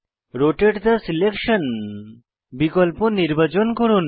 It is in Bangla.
রোটাতে থে সিলেকশন বিকল্প নির্বাচন করুন